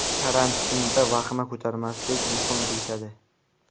Karantinda vahima ko‘tarmaslik muhim deyishadi.